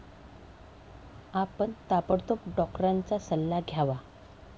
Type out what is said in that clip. आपण ताबडतोब डॉक्टरांचा सल्ला घ्यावा.